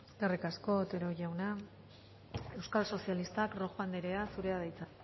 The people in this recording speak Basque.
eskerrik asko otero jauna euskal sozialistak rojo anderea zurea da hitza